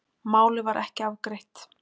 Málið var ekki afgreitt